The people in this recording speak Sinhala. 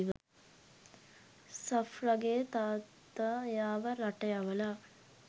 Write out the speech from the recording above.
සෆ්රගෙ තාත්ත එයාව රට යවල.